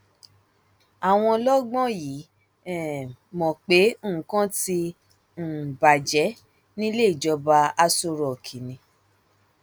àwọn ọlọgbọn yìí um mọ pé nǹkan ti um bàjẹ nílé ìjọba aṣọ rock ni